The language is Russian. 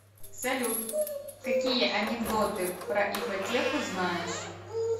салют какие анекдоты про ипотеку знаешь